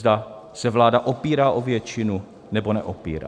Zda se vláda opírá o většinu, nebo neopírá.